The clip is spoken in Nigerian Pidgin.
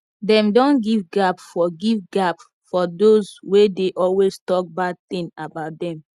dem don give gap for give gap for dos wey dey always talk bad tin about dem